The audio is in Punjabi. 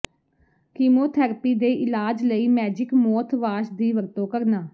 ਕੀਮੋਥੈਰੇਪੀ ਦੇ ਇਲਾਜ ਲਈ ਮੈਜਿਕ ਮੌਥਵਾਸ਼ ਦੀ ਵਰਤੋਂ ਕਰਨਾ